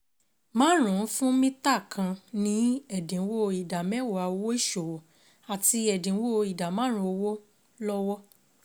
márùn-ún fún mítà kan ní ẹ̀dínwó ìdá mẹ́wàá owó ìṣòwò àti ẹ̀dínwó ìdá márùn-ún owó lọ́wọ́.